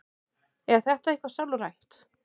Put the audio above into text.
Er þetta eitthvað sálrænt?